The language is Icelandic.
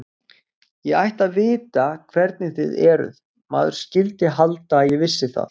Ég ætti að vita hvernig þið eruð, maður skyldi halda að ég vissi það.